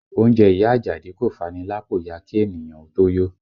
Oúnjẹ ìyá Ajadi kò fani lápò ya kí ènìyàn ó tó yó